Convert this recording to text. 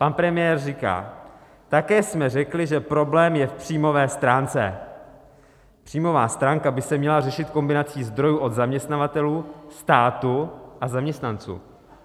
Pan premiér říká: také jsme řekli, že problém je v příjmové stránce, příjmová stránka by se měla řešit kombinací zdrojů od zaměstnavatelů, státu a zaměstnanců.